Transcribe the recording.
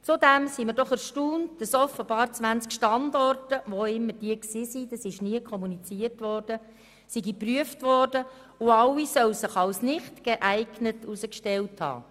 Zudem sind wir doch erstaunt, dass offenbar 20 Standorte – wo auch immer, das wurde nie kommuniziert – geprüft wurden und alle sich nicht geeignet haben sollen.